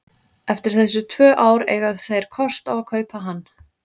Eftir þessi tvö ár eiga þeir kost á að kaupa hann.